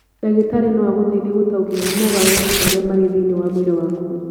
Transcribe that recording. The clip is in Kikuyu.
Ndagĩtarĩ no agũteithie gũtaũkĩrũo nĩ mogarũrũku marĩa marĩ thĩinĩ wa mwĩrĩ waku.